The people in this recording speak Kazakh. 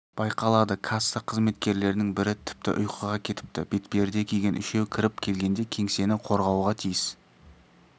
байқалады касса қызметкерлерінің бірі тіпті ұйқыға кетіпті бетперде киген үшеу кіріп келгенде кеңсені қорғауға тиіс